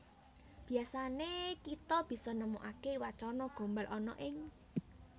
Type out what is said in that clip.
Biasané kita bisa nemokaké wacana gombal ana ing